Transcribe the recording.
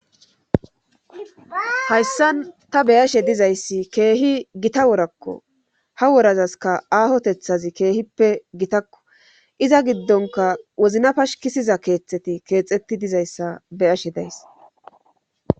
Hayssan ta beyashe dizayssi keehi gita worakko ha worazaska aahotethazi keehippe gitakko iza giddonka wozina pashkisiza keethaeti keexetti dizayssa beyashe days.